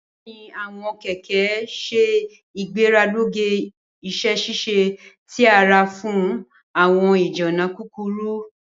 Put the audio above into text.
Bẹẹni, awọn kẹkẹ ṣe igbelaruge iṣẹ-ṣiṣe ti ara fun awọn ijinna kukuru.